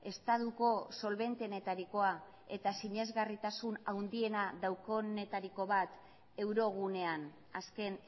estatuko solbentenetarikoa eta sinesgarritasun handiena daukatenetariko bat euro gunean azken